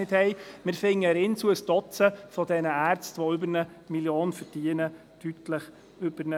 Im Inselspital fänden wir ein Dutzend Ärzte, die über 1 Mio. Franken verdienen, deutlich über 1 Mio. Franken.